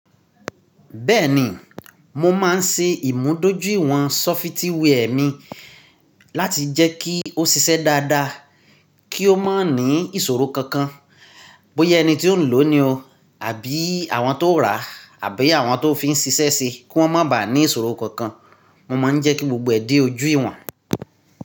Bẹ́ẹ̀ni, mo máa ń ṣe ìmúdójú ìwọ̀n sọfitíwẹ́ẹ̀ mi láti jẹ́ kí ó ṣiṣẹ́ dáadáa, kí ó má ní ìṣòro kankan. Bóyá ẹni tí ó ń lò ó ni o àbí àwọn tó rà á àbí àwọn tó fi ń ṣiṣẹ́ se kí wọ́n má bà ní ìṣòro kankan. Mo máa ń jẹ́ kí gbogbo ẹ̀ de ojú ìwọ̀n.